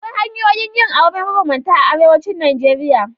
Akwai hanyoyin yin aure mabambanta a arewacin Najeriya.